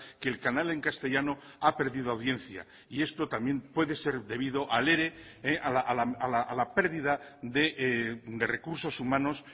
que el canal en castellano ha perdido audiencia y esto también puede ser debido al ere a la pérdida de recursos humanos